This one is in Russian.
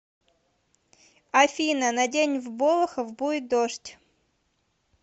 афина на день в болохов будет дождь